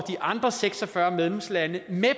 de andre seks og fyrre medlemslande med